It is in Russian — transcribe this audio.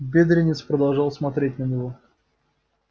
бедренец продолжал смотреть на него